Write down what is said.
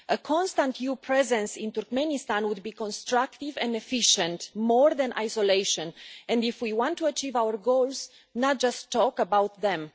A constant new presence in Turkmenistan would be constructive and efficient, more than isolation, if we want to achieve our goals and not just talk about them.